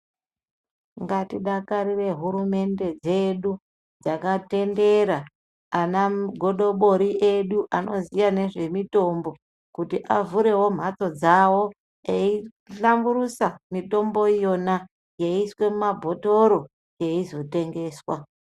Ngatidakarire hurumende dzedu dzakatendera .Ana godobori edu anoziya nezvemitombo kuti avhurewo mhatso dzawo eihlamburusa mitombo yona yeiiswe mumabhotoro yeizotengeswa .